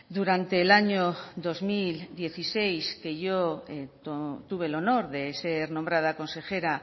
durante el año dos mil dieciséis que yo tuve el honor de ser nombrada consejera